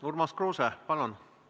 Urmas Kruuse, palun!